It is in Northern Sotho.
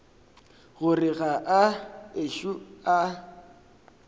gore ga a ešo a